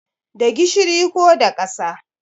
Da gishiri ko da ƙasa